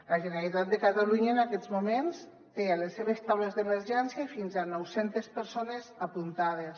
la generalitat de catalunya en aquests moments té a les seves taules d’emergència fins a nou centes persones apuntades